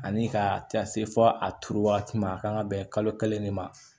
Ani ka taa se fɔ a turu wagati ma a ka kan ka bɛn kalo kelen de ma